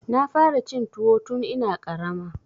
Na fara cin tuwo tun ina ƙarama.